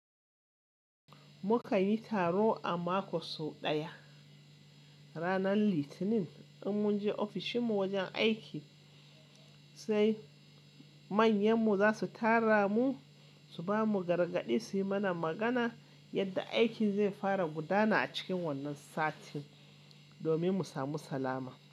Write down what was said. Mukan yi taro a mako sau ɗaya, ranar Litinin, in mun je ofishin mu wajen aiki, sai manyan mu za su tara mu su ba mu gargaɗi su yi mana magana yadda aikin zai fara gudana a cikin wannan sati, domin mu samu salama.